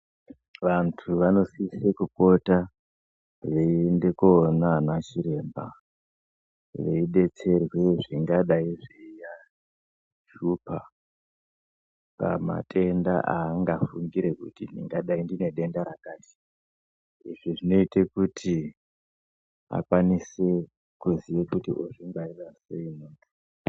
Vantu vanosise kupota veiende koona ana chiremba veidetserwe zvingadai zveiahlupha pamatenda aangafungire kuti ndingadai ndine denda rakati. Izvi zvinoite kuti akwanise kuziye kuti ozvingwarira sei.